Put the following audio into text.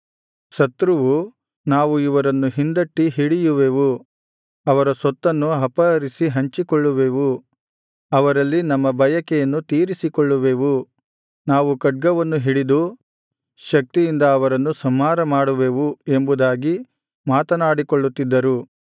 ಶತ್ರುವು ನಾವು ಇವರನ್ನು ಹಿಂದಟ್ಟಿ ಹಿಡಿಯುವೆವು ಅವರ ಸೊತ್ತನ್ನು ಅಪಹರಿಸಿ ಹಂಚಿಕೊಳ್ಳುವೆವು ಅವರಲ್ಲಿ ನಮ್ಮ ಬಯಕೆಯನ್ನು ತೀರಿಸಿಕೊಳ್ಳುವೆವು ನಾವು ಖಡ್ಗವನ್ನು ಹಿಡಿದು ಶಕ್ತಿಯಿಂದ ಅವರನ್ನು ಸಂಹಾರಮಾಡುವೆವು ಎಂಬುದಾಗಿ ಮಾತನಾಡಿಕೊಳ್ಳುತ್ತಿದ್ದರು